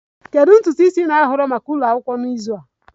Kedu ntutu isi ị na-ahọrọ maka ụlọ akwụkwọ n'izu a?